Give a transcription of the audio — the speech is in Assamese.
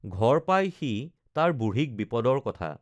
ঘৰ পাই সি তাৰ বুঢ়ীক বিপদৰ কথা